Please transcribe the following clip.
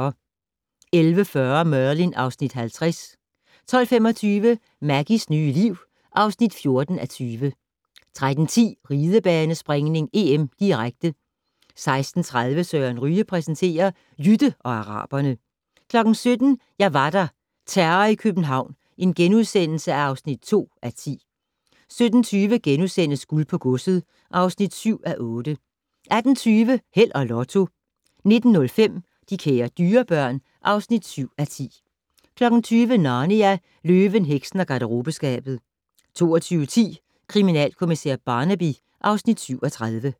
11:40: Merlin (Afs. 50) 12:25: Maggies nye liv (14:20) 13:10: Ridebanespringning: EM, direkte 16:30: Søren Ryge præsenterer: Jytte og araberne 17:00: Jeg var der - Terror i København (2:10)* 17:20: Guld på godset (7:8)* 18:20: Held og Lotto 19:05: De kære dyrebørn (7:10) 20:00: Narnia: Løven, heksen og garderobeskabet 22:10: Kriminalkommissær Barnaby (Afs. 37)